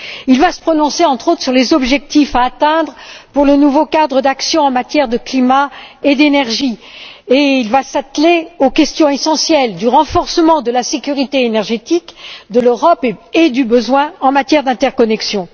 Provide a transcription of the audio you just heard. Il va se prononcer, entre autres, sur les objectifs à fixer pour le nouveau cadre d'action en matière de climat et d'énergie, et il va s'atteler aux questions essentielles du renforcement de la sécurité énergétique, de l'Europe et des besoins en matière d'interconnexion.